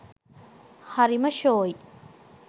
හරිම ශෝයි